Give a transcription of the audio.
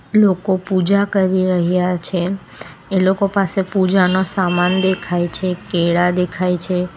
લોકો પૂજા કરી રહ્યા છે એ લોકો પાસે પૂજા નો સામાન દેખાય છે કેળા દેખાય છે.